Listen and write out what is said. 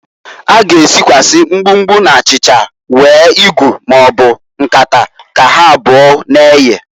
A g'esikwasi mgbumgbu na achicha were igu maọbụ nkata ka ha abụo na-eye.